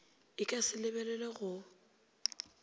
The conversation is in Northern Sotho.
e ka se lebelelwe go